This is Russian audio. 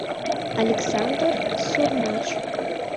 александр сурмач